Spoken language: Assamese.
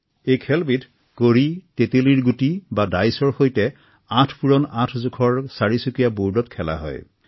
এই খেলবিধ কড়ী তেলেলীৰ গুটি বা ডাইচৰ সৈতে আঠ পূৰণ আঠ বৰ্ডত খেলা হয়